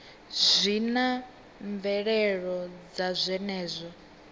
zwi na mvelelo dza zwenezwo